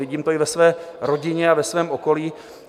Vidím to i ve své rodině a ve svém okolí.